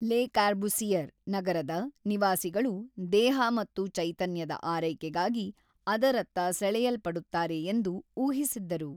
ಲೆ Corbusier ನಗರದ ನಿವಾಸಿಗಳು'ದೇಹ ಮತ್ತು ಚೈತನ್ಯದ ಆರೈಕೆಗಾಗಿ' ಅದರತ್ತ ಸೆಳೆಯಲ್ಪಡುತ್ತಾರೆ ಎಂದು ಊಹಿಸಿದ್ದರು.